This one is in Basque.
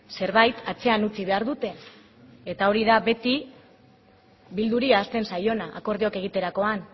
zerbait atzean utzi behar dute eta hori da beti bilduri ahazten zaiona akordioak egiterakoan